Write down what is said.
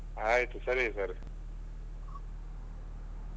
ಆಯ್ತು ಸರಿ ಸರಿ